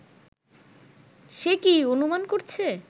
সে কি অনুমান করছে